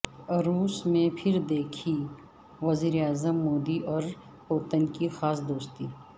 روس میں پھر دکھی وزیر اعظم مودی اور پوتن کی خاص دوستی